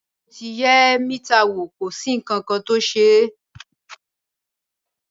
Bẹẹni mo ti yẹ mítà wo, ko sí ìtọńsẹ.